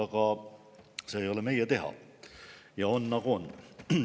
Aga see ei ole meie teha, on nagu on.